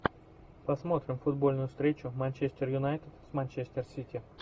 посмотрим футбольную встречу манчестер юнайтед манчестер сити